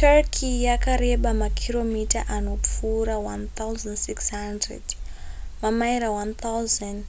turkey yakareba makiromita anopfuura 1,600 mamaira 1,000